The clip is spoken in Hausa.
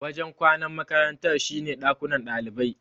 Wajen kwanan makarantar shine dakunan ɗalibai.